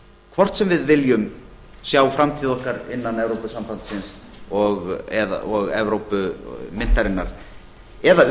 hvort sem við viljum sjá framtíð okkar innan evrópusambandsins og evrópumyntarinnar eða